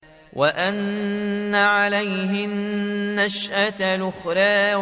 وَأَنَّ عَلَيْهِ النَّشْأَةَ الْأُخْرَىٰ